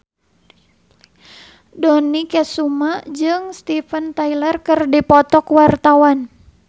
Dony Kesuma jeung Steven Tyler keur dipoto ku wartawan